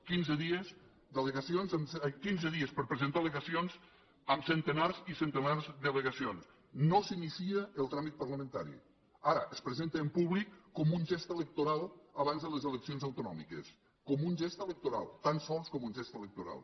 quinze dies d’allegacions quinze dies per a presentar al·legacions amb centenars i centenars d’al·legacions no s’inicia el tràmit parlamentari ara es presenta en públic com un gest electoral abans de les eleccions autonòmiques com un gest electoral tan sols com un gest electoral